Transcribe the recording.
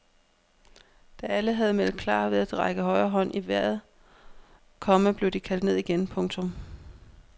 Da alle havde meldt klar ved at række højre hånd knyttet i vejret, komma blev de kaldt ned igen. punktum